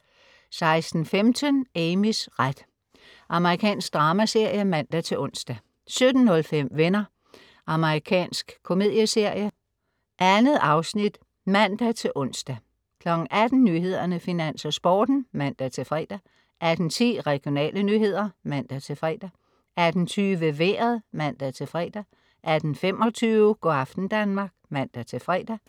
16.15 Amys ret. Amerikansk dramaserie (man-ons) 17.05 Venner. Amerikansk komedieserie. 2 afsnit (man-ons) 18.00 Nyhederne, Finans og Sporten (man-fre) 18.10 Regionale nyheder (man-fre) 18.20 Vejret (man-fre) 18.25 Go' aften Danmark (man-fre)